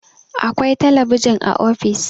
akwai talabijin a ofis